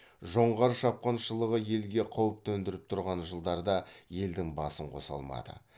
жоңғар шапқыншылығы елге қауіп төндіріп тұрған жылдарда елдің басын қоса алмады